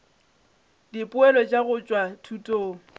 dipoelo tša go tšwa thutong